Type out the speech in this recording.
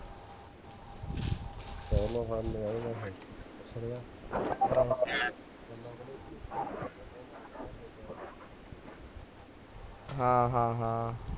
ਹਾਂ ਹਾਂ ਹਾਂ